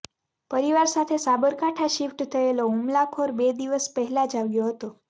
પરિવાર સાથે સાબરકાંઠા શિફ્ટ થયેલો હુમલાખોર બે દિવસ પહેલાં જ આવ્યો હતો